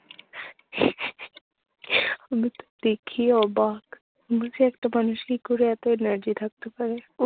আমিতো দেখেই অবাক। বলছি একটা মানুষ কি করে এতো energy থাকতে পারে